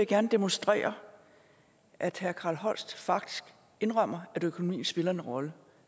gerne demonstrere at herre carl holst faktisk indrømmer at økonomien spiller en rolle